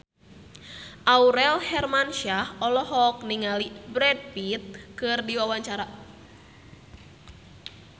Aurel Hermansyah olohok ningali Brad Pitt keur diwawancara